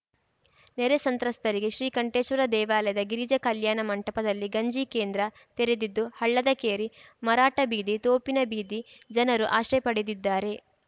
ನೆರೆ ಸಂತ್ರಸ್ತರಿಗೆ ಶ್ರೀಕಂಠೇಶ್ವರ ದೇವಾಲಯದ ಗಿರಿಜಾ ಕಲ್ಯಾಣ ಮಂಟಪದಲ್ಲಿ ಗಂಜಿ ಕೇಂದ್ರ ತೆರೆದಿದ್ದು ಹಳ್ಳದಕೇರಿ ಮರಾಠ ಬೀದಿ ತೋಪಿನ ಬೀದಿ ಜನರು ಆಶ್ರಯ ಪಡೆದಿದ್ದಾರೆ